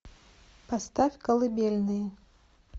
поставь колыбельные